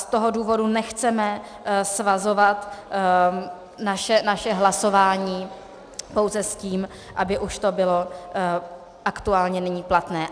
Z toho důvodu nechceme svazovat naše hlasování pouze s tím, aby už to bylo aktuálně nyní platné.